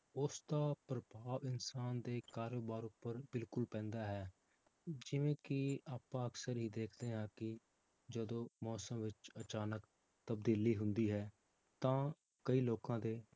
ਉਸਦਾ ਪ੍ਰਭਾਵ ਇਨਸਾਨ ਦੇ ਕਾਰੋਬਾਰ ਉੱਪਰ ਬਿਲਕੁਲ ਪੈਂਦਾ ਹੈ, ਜਿਵੇਂ ਕਿ ਆਪਾਂ ਅਕਸਰ ਹੀ ਦੇਖਦੇ ਹਾਂ ਕਿ ਜਦੋਂ ਮੌਸਮ ਵਿੱਚ ਅਚਾਨਕ ਤਬਦੀਲੀ ਹੁੰਦੀ ਹੈ, ਤਾਂ ਕਈ ਲੋਕਾਂ ਦੇ